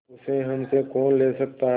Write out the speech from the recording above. उसे हमसे कौन ले सकता है